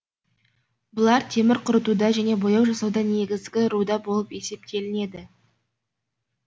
бұлар темір қорытуда және бояу жасауда негізгі руда болып есептелінеді